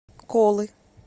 колы